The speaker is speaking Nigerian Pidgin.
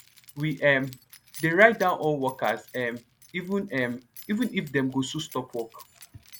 we um de write down all workers um even um even if dem go soon stop work